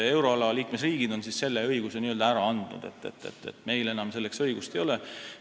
Euroala liikmesriigid on selle õiguse n-ö ära andnud, meil enam selleks õigust ei ole.